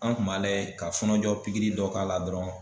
An kun b'a lajɛ ka fɔnɔjɔ pikiri dɔ k'a la dɔrɔn